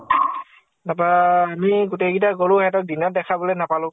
তাপা আমি গোটেই কেইতা গʼলো, সিহঁতক দিনত দেখাবলৈ নাপালো ।